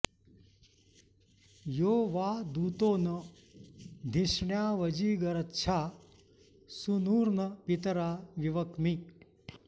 यो वां॑ दू॒तो न धि॑ष्ण्या॒वजी॑ग॒रच्छा॑ सू॒नुर्न पि॒तरा॑ विवक्मि